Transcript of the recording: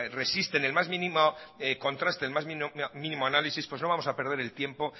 resisten el más mínimo contraste el más mínimo análisis pues no vamos a perder el tiempo